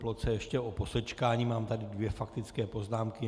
Ploce ještě o posečkání, mám tady dvě faktické poznámky.